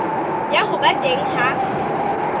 ya ho ba teng ha